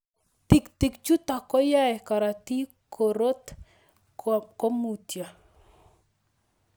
Tig'tik chutok koyae karatik korot komutio